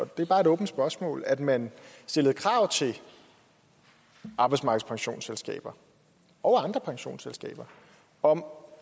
det er bare et åbent spørgsmål at man stillede krav til arbejdsmarkedspensionsselskaber og andre pensionsselskaber om